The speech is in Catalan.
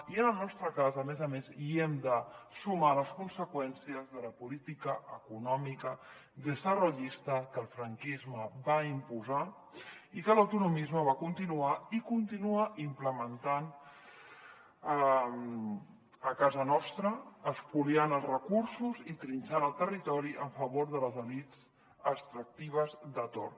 i en el nos·tre cas a més a més hi hem de sumar les conseqüències de la política econòmica desarrollista que el franquisme va imposar i que l’autonomisme va continuar i con·tinua implementant a casa nostra espoliant els recursos i trinxant el territori a favor de les elits extractives de torn